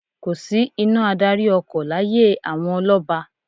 Kò sí iná ìdarí-ọkọ̀ láyé àwọn ọlọ́ba.